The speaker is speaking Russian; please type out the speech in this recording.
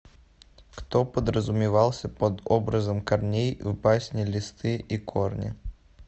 кто подразумевался под образом корней в басне листы и корни